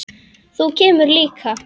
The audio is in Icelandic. Þú kemur líka.